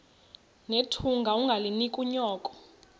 nethunga ungalinik unyoko